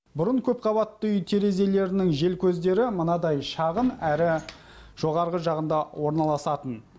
бұрын көпқабатты үй терезелерінің желкөздері мынадай шағын әрі жоғарғы жағында орналасатын